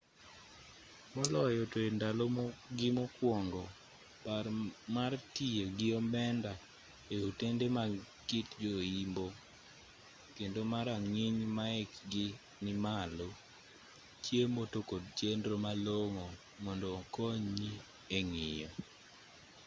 moloyo to e ndalo gi mokuongo par mar tiyo gi omenda e otende mag kit jo-imbo kendo ma rang'iny maekgi ni malo chiemo to kod chenro malong'o mondo okonyi e ng'iyo